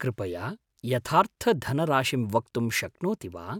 कृपया यथार्थधनराशिं वक्तुं शक्नोति वा?